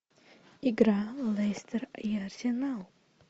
игра лестер и арсенал